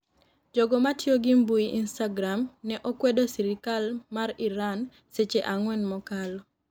Jogo matiyo gi mbui instagram ne okwedo sirikal mar Iran seche ang'wen mokalo